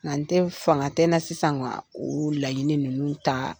Nka tɛ fanga tɛ n na sisan ka olu laɲiniini ninnu taa